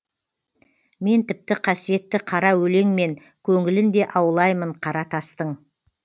мен тіпті қасиетті қара өлеңмен көңілін де аулаймын қара тастың